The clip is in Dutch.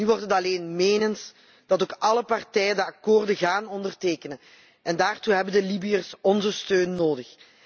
Nu wordt het alleen menens als ook alle partijen de akkoorden gaan ondertekenen, en daartoe hebben de Libiërs onze steun nodig.